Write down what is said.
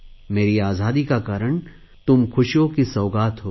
मेरी आज़ादी का कारण तुम ख़ुशियों की सौगात हो